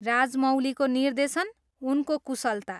राजामौलीको निर्देशन, उनको कुशलता!